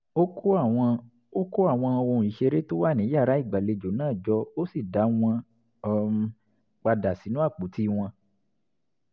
ó kó àwọn ó kó àwọn ohun ìṣeré tó wà ní yàrá ìgbàlejò náà jọ ó sì dá wọn um padà sínú àpótí wọn